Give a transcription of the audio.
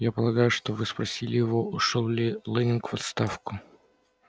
я полагаю что вы спросили его ушёл ли лэннинг в отставку